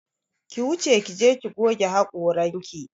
Ki wuce ki je ki goge haƙoranki!